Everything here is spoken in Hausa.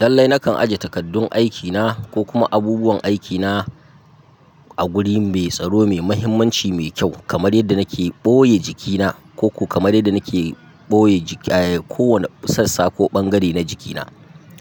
Lallai nakan ajiye takardun aikina ko kuma abubuwan aikina a guri mai tsaro, mai mahimmanci, mai kyau kamar yadda nake ɓoye jikina ko kamar yadda nake ɓoye kowane sassa ko bangare na jikina